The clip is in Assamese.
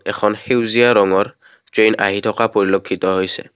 এখন সেউজীয়া ৰঙৰ ট্ৰেন আহি থকা পৰিলক্ষিত হৈছে।